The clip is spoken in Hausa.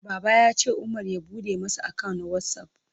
Baba ya ce Umar ya bude masa account na WhatsApp.